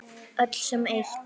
Öll sem eitt.